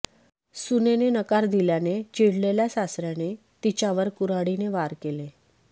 सुनेने नकार दिल्याने चिडलेल्या सासर्याने तिच्यावर कुर्हाडीने वार केले